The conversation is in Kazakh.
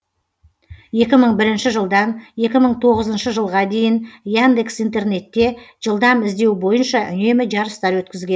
екі мың бірінші жылдан екі мың тоғызыншы жылға дейін яндекс интернетте жылдам іздеу бойынша үнемі жарыстар өткізген